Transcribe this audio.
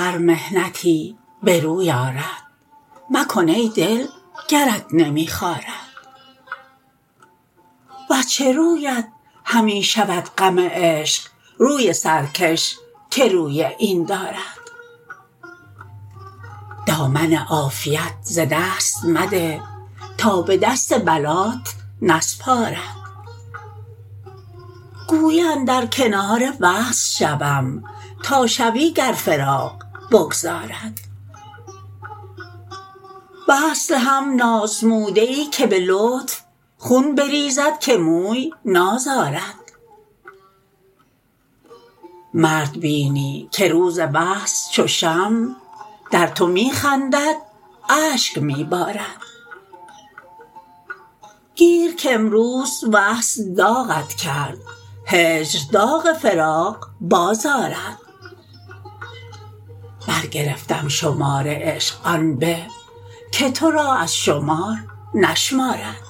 هر محنتی به روی آرد مکن ای دل گرت نمی خارد وز چه رویت همی شود غم عشق روی سرکش که روی این دارد دامن عافیت ز دست مده تا به دست بلات نسپارد گویی اندر کنار وصل شوم تا شوی گر فراق بگذارد وصل هم نازموده ای که به لطف خون بریزد که موی نازارد مردبینی که روز وصل چو شمع در تو می خندد اشک می بارد گیر کامروز وصل داغت کرد هجر داغ فراق باز آرد برگرفتم شمار عشق آن به که ترا از شمار نشمارد